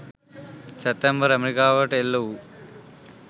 සැප්තැම්බර් ඇමරිකාවට එල්ල වූ